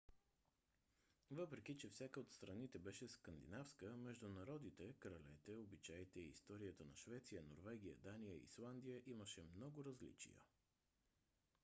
въпреки че всяка от страните беше скандинавска между народите кралете обичаите и историята на швеция норвегия дания и исландия имаше много различия